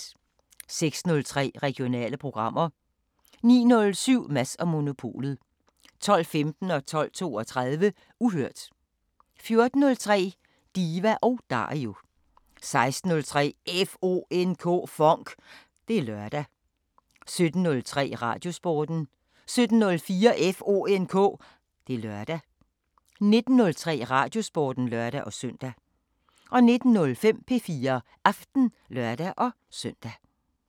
06:03: Regionale programmer 09:07: Mads & Monopolet 12:15: Uhørt 12:32: Uhørt 14:03: Diva & Dario 16:03: FONK! Det er lørdag 17:03: Radiosporten 17:04: FONK! Det er lørdag 19:03: Radiosporten (lør-søn) 19:05: P4 Aften (lør-søn)